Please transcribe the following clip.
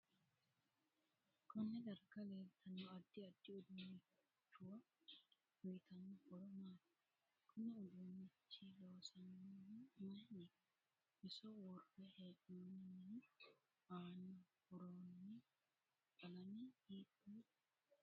Konne darga leeltanno addi addi uduunichuwa uyiitanno horo maati kuni uduunichi loosaminohu mayiiniti iso worre heenooni mini aana buurooni qalame hiitoote